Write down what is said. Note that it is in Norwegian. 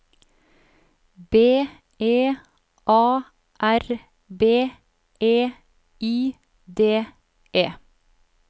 B E A R B E I D E